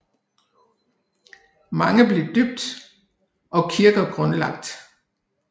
Mange blev døbt og kirker grundlagt